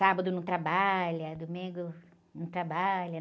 Sábado não trabalha, domingo não trabalha.